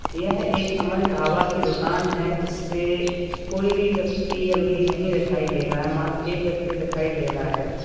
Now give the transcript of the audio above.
यह एक अमन ढाबा की दुकान है जिसपे कोई भी व्यक्ति अभी नहीं दिखाई दे रहा है मात्र एक व्यक्ति दिखाई दे रहा है।